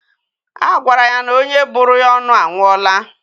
A gwara ya na onye bụrụ ya ọnụ anwụọla.